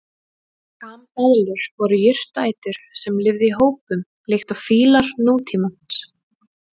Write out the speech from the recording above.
Kambeðlur voru jurtaætur sem lifðu í hópum líkt og fílar nútímans.